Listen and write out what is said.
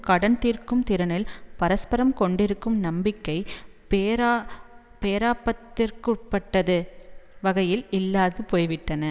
கடன் தீர்க்கும் திறனில் பரஸ்பரம் கொண்டிருக்கும் நம்பிக்கை பேரா பேராபத்திற்குட்பட்டது வகையில் இல்லாது போய்விட்டன